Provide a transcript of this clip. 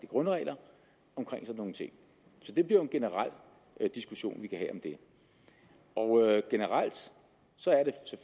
grundregler så det bliver en generel diskussion vi kan have om det generelt